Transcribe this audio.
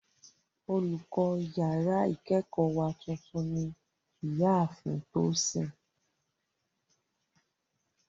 Olùkọ́ yàrá ìkẹ́kọ̀ọ́ wa tuntun ní ìyá ààfin Tosin